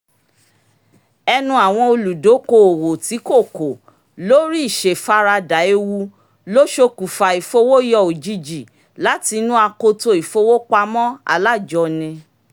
ẹ̀nu àwọn olùdókoòwò tí kò kò lórí ìṣèfaradà ewu ló ṣokùnfà ìfowóyọ òjijì láti inú akoto ìfowópamọ́ alájọni